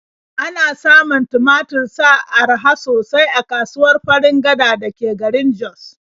Ana samun tumatur sa araha sosai a kasuwar Farin Gada da ke garin Jos.